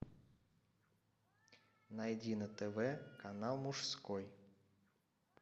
найди на тв канал мужской